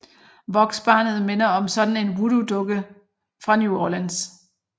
Voksbarnet minder som sådan om Voodoodukkerne fra New Orleans